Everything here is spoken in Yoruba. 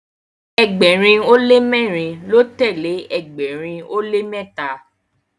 ẹgbẹrin o le mẹrin ló telee ẹgbẹrin o le mẹta